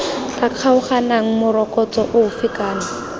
tla kgaoganang morokotso ofe kana